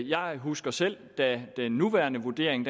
jeg husker selv da den nuværende vurdering